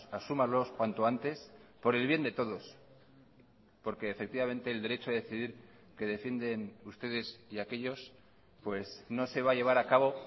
asúmalos cuanto antes por el bien de todos porque efectivamente el derecho a decidir que defienden ustedes y aquellos pues no se va a llevar a cabo